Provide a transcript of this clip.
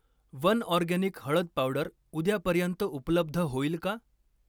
One Organic हळद powder उद्यापर्यंत उपलब्ध होईल का?